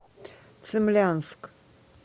цимлянск